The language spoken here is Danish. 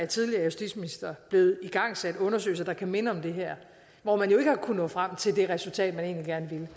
tidligere justitsministre er blevet igangsat undersøgelser der kunne minde om det her og hvor man jo ikke har kunnet nå frem til det resultat man egentlig gerne ville